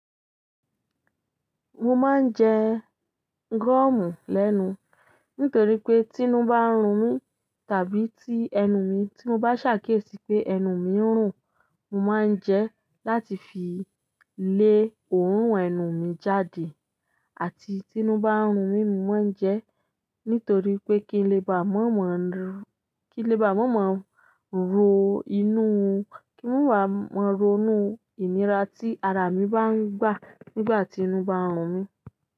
Mo máa ń jẹ gọ́ọ̀mù lẹ́nu, nítorí pé tí inú bá ń run mi, tàbí tí ẹnu mi tí mo bá ṣàkíyèsí pé ẹnu mi ń rùn, mo máa ń jẹ láti fi lé òórùn ẹnu mi jáde. Àti tí inú bá ń runmi mo má ń jẹ nitorioe kí n lè bá màmá ronú ìlera tí ara mi bá ń gba nígbà tí inú bá ń runmi.